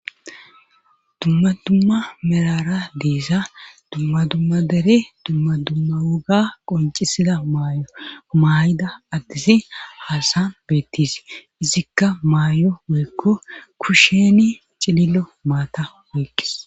dumma dumma merara deesa dumma dumma dere dumma dumma woga qoncisida maayo umayida addisi haasan beettise izikka maayo woykko kusheni cilillo maata woykkes